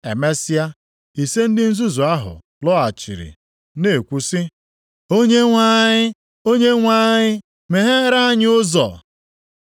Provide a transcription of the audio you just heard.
“Emesịa, ise ndị nzuzu ahụ + 25:11 Ụmụ agbọghọ ise ndị nzuzu lọghachiri na-ekwu sị, ‘Onyenwe anyị, Onyenwe anyị, meghere anyị ụzọ!’